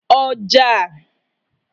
ọjà